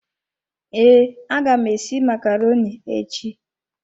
Ee, aga m esi macaroni echi.